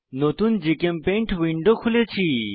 নতুন জিচেমপেইন্ট উইন্ডো খুলেছি